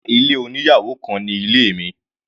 Rárá, ilé oníyàwò kan ni ilé mi.